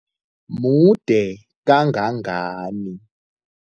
Mude kangangani?